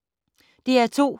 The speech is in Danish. DR2